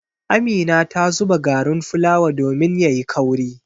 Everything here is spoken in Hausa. Amina ta zuba garin fulawa domin ya yi kauri.